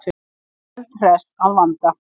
Eldhress að vanda.